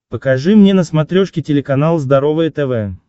покажи мне на смотрешке телеканал здоровое тв